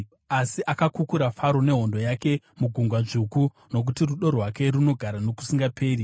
asi akakukura Faro nehondo yake muGungwa Dzvuku; Nokuti rudo rwake runogara nokusingaperi.